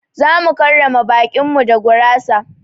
Zamu karrama baƙin mu da gurasa.